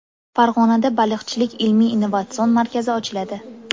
Farg‘onada Baliqchilik ilmiy-innovatsion markazi ochiladi.